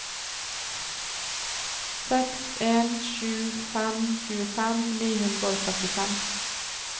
seks en sju fem tjuefem ni hundre og trettifem